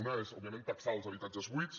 una és òbviament taxar els habitatges buits